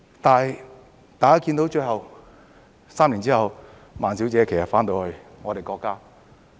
但是，大家看到最後 ，3 年之後，孟女士返到我們的國家。